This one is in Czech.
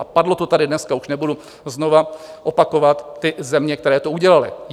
A padlo to tady dneska, už nebudu znovu opakovat ty země, které to udělaly.